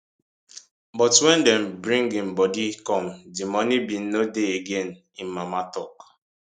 but wen dem bring im bodi come di money bin no dey again im mama tok